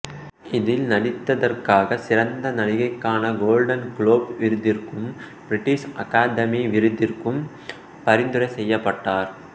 இதில்நடித்ததற்ககாக சிறந்த நடிகைக்கான Golden Globe விருதிற்கும் பிரிட்டிசு அகாதமி விருதிற்கும் பரிந்துரை செய்யப்பட்டார்